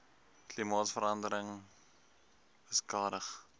klimaatsverande ring beskadig